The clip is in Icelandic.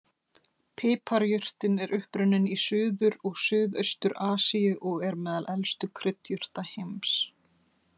Piparjurtin er upprunninn í Suður- og Suðaustur-Asíu og er meðal elstu kryddjurta heims.